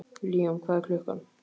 Líam, hvað er klukkan?